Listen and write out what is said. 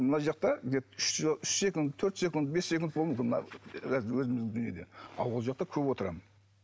мына жақта үш секунд төрт секунд бес секунд мына өзіміздің дүниеде ал ол жақта көп отырамын